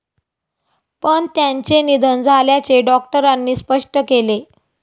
पण त्यांचे निधन झाल्याचे डॉक्टरांनी स्पष्ट केले.